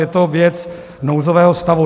Je to věc nouzového stavu.